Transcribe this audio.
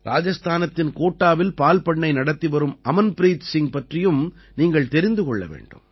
ராஜஸ்தானத்தின் கோட்டாவில் பால் பண்ணை நடத்தி வரும் அமன்பிரீத் சிங் பற்றியும் நீங்கள் தெரிந்து கொள்ள வேண்டும்